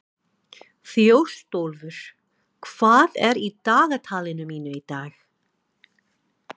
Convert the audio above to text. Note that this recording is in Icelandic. Þjóstólfur, hvað er í dagatalinu mínu í dag?